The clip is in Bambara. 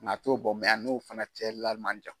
a t'o bɔ a n'o fana cɛla man jan.